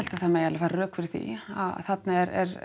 það má færa rök fyrir því þarna er